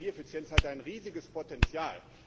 Also, Energieeffizienz hat ein riesiges Potenzial.